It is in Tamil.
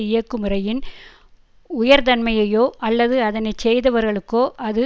இயக்குமுறையின் உயர்தன்மையையோ அல்லது அதனை செய்தவர்களுக்கோ அது